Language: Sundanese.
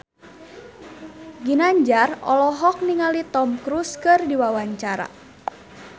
Ginanjar olohok ningali Tom Cruise keur diwawancara